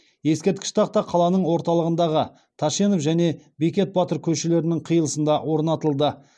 ескерткіш тақта қаланың орталығындағы тәшенов және бекет батыр көшелерінің қиылысында орнатылды